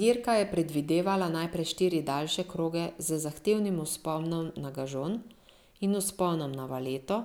Dirka je predvidevala najprej štiri daljše kroge z zahtevnim vzponom na Gažon in vzponom na Valeto